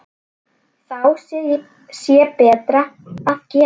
Þá sé betra að gefa.